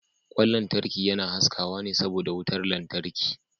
Kwan lantarki yana haskawa ne saboda wutar lantarki.